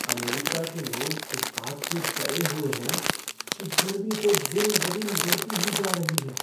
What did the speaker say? America के लोग इस बात से डरे हुए हैं कि गर्मी तो दिन ब दिन बढ़ती ही जा रही है।